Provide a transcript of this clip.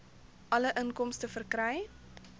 alle inkomste verkry